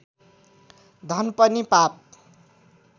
धन पनि पाप